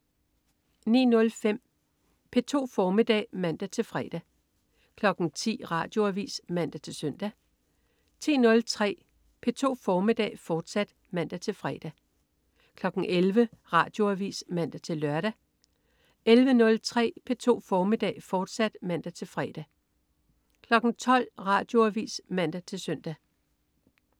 09.05 P2 formiddag (man-fre) 10.00 Radioavis (man-søn) 10.03 P2 formiddag, fortsat (man-fre) 11.00 Radioavis (man-lør) 11.03 P2 formiddag, fortsat (man-fre) 12.00 Radioavis (man-søn)